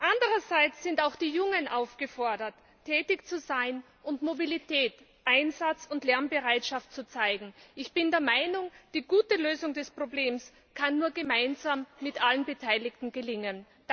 Andererseits sind auch die Jungen aufgefordert, tätig zu sein und Mobilität, Einsatz und Lernbereitschaft zu zeigen. Ich bin der Meinung, die gute Lösung des Problems kann nur gemeinsam mit allen Beteiligten gelingen!